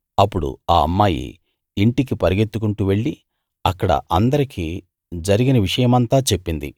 అప్పుడు ఆ అమ్మాయి ఇంటికి పరుగెత్తుకుంటూ వెళ్ళి అక్కడ అందరికీ జరిగిన విషయమంతా చెప్పింది